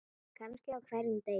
Kannski á hverjum degi.